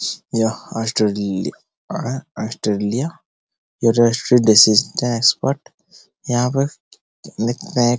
स यह Australia Australia expert यहाँ पर